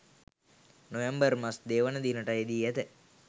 නොවැම්බර් මස 02 වන දිනට යෙදී ඇත.